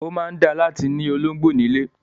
Ó máa dáa láti ni ológbò ní ilé.